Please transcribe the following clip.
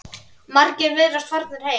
Margir virðast farnir heim.